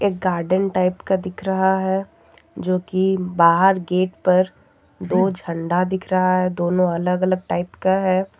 Garden type का दिख रहा है जो कि बाहर गेट पर दो झंडा दिख रहा है दोनों अलग अलग टाइप का है।